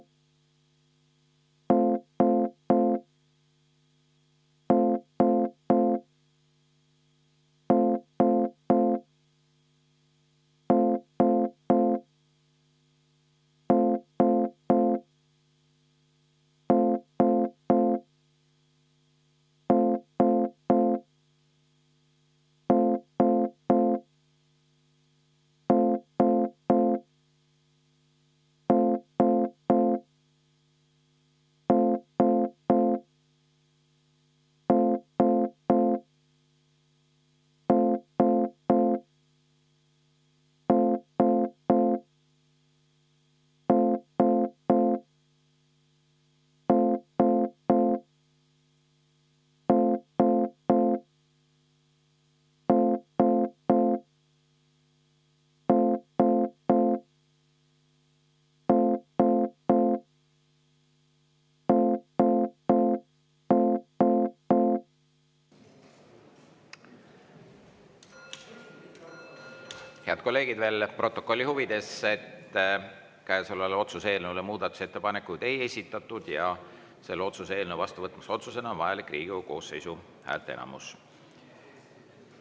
Head kolleegid, veel protokolli huvides: käesolevale otsuse eelnõule muudatusettepanekuid ei esitatud ja selle otsuse eelnõu vastuvõtmiseks otsusena on vajalik Riigikogu koosseisu häälteenamus.